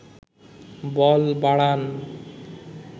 বল বাড়ান